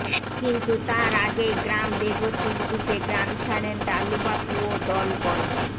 কিন্তু তার আগেই গ্রাম বেগতিক বুঝে গ্রাম ছাড়েন ডালুবাবু ও দলবল